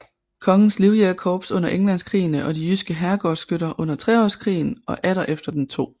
Kongens Livjægerkorps under Englandskrigene og de jyske herregårdsskytter under Treårskrigen og atter efter den 2